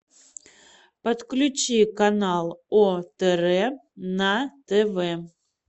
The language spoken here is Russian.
подключи канал отр на тв